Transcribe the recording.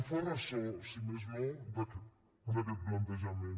es fa ressò si més no d’aquest plantejament